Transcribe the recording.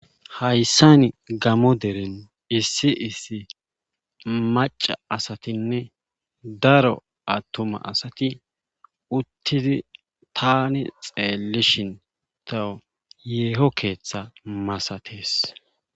Hayssani gamo deren issi issi macca asatinne daro attuma asati uttidi taani xeellishin tawu yeeho keetha masates.